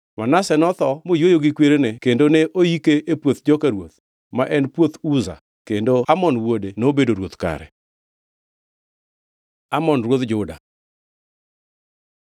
Manase notho moyweyo gi kwerene kendo ne oike e puoth joka ruoth, ma en puoth Uza, kendo Amon wuode nobedo ruoth kare. Amon ruodh Juda